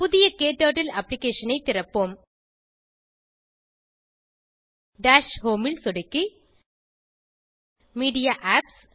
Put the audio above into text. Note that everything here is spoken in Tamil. புதிய க்டர்ட்டில் அப்ளிகேஷன் ஐ திறப்போம் டாஷ் ஹோம் ல் சொடுக்கி மீடியா ஏபிபிஎஸ்